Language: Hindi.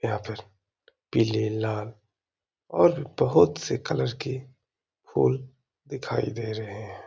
यहाँ पर पीले लाल और बोहोत से कलर के फूल दिखाई दे रहे हैं |